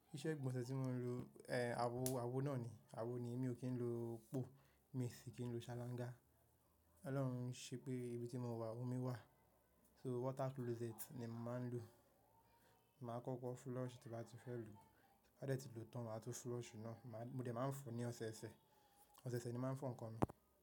Iṣẹ́ ìgbọ̀nsẹ̀ tí mò ń lo, awo, awo náà ni, awo ni èmi ò kí ń lo po, mi sì kí ń lo salanga. Ọlọ́run ṣe pé ibi tí mo wà omi wà, so water closet ni màá ń lo. Màá kọ́kọ́ flush tí bàá ti fẹ́ lo, bá dẹ́ ti lòó tan màá tún flush náà, mo dẹ̀ máa ń fọ ní ọ̀sẹ̀ẹ̀sẹ̀. Ọ̀sẹ̀ẹ̀sẹ̀ ni màá ń fọ nǹkan náà.